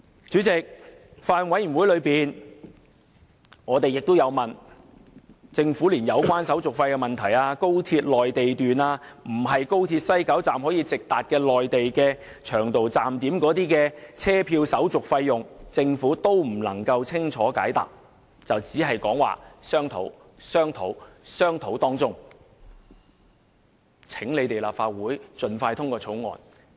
主席，在法案委員會會議上，政府對於有關購買車票的手續費用，即購買高鐵內地段、並非高鐵西九龍站可直達的內地長途站點的車票的手續費用問題，未能清楚解答，只是不斷表示正在進行商討，但卻要求立法會盡快通過《條例草案》。